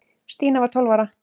Stína var tólf ára.